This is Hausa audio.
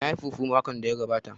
Na yi fufu makon da ya gabata